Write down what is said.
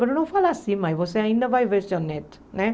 Mas não fala assim, mãe, você ainda vai ver seu neto, né?